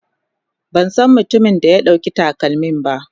Ban san mutumin da ya ɗauki takalmin ba.